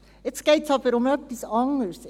Jetzt geht es aber um etwas anderes.